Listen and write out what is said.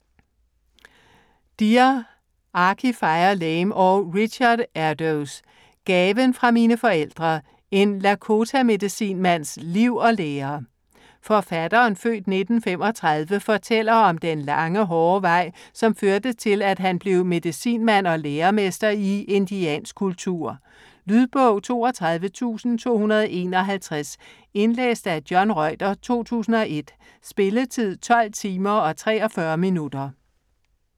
Deer, Archie Fire Lame og Richard Erdoes: Gaven fra mine forfædre: en Lakota-medicinmands liv og lære Forfatteren (f. 1935) fortæller om den lange, hårde vej, som førte til, at han blev medicinmand og læremester i indiansk kultur. Lydbog 32251 Indlæst af John Reuter, 2001. Spilletid: 12 timer, 43 minutter.